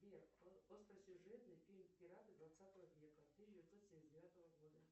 сбер остросюжетный фильм пираты двадцатого века тысяча девятьсот семьдесят девятого года